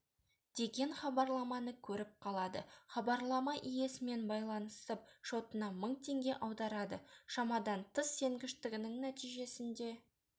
деген хабарламаны көріп қалады хабарлама иесімен байланысып шотына мың теңге аударады шамадан тыс сенгіштігінің нәтижесінде